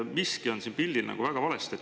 Miski on siin pildil väga valesti.